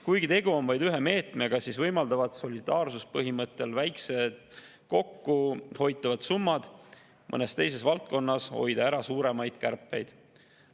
Kuigi tegu on vaid ühe meetmega, võimaldavad solidaarsuspõhimõttel väikesed kokku hoitud summad mõnes teises valdkonnas ära hoida suuremaid kärpeid.